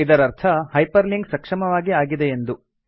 ಇದರರ್ಥ hyperlink ಸಕ್ಷಮವಾಗಿ ಆಗಿದೆಯೆಂದು